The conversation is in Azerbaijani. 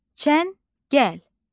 Çəngəl.